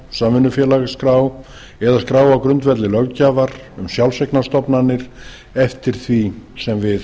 samvinnufélagaskrá eða skrá á grundvelli löggjafar um sjálfseignarstofnanir eftir því sem við